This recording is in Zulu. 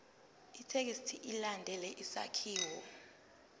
ithekisthi ilandele isakhiwo